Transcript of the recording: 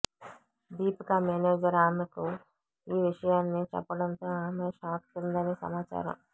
Deepika manager ఆమెకు ఈ విషయాన్ని చెప్పడంతో ఆమె షాక్ తిందని సమాచారం